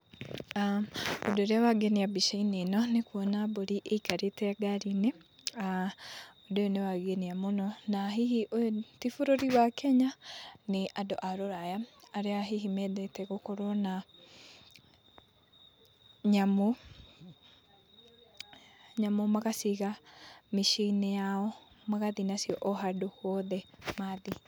Ũndũ ũrĩa wangenia mbica-inĩ ĩno nĩ kuona mbũri ĩikarĩte ngari-inĩ na ũndũ ũyũ nĩ wangenia mũno na hihi ũyũ ti bũrũri wa Kenya, nĩ andũ a rũraya arĩa hihi mendete gũkorwo na nyamũ, nyamũ magaciga mĩciĩ-inĩ yao, magathiĩ nacio o handũ hothe mathiĩ.